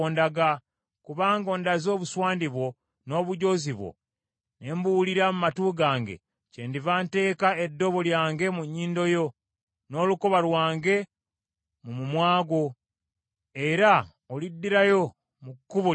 Kubanga ondaze obuswandi bwo, n’obujoozi bwo ne mbuwulira mu matu gange, kyendiva nteeka eddobo lyange mu nnyindo yo n’olukoba lwange mu mumwa gwo, era oliddirayo mu kkubo lye wajjiramu.’